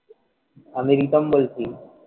আমি প্রীতম বলছি,